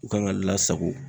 U kan ka lasago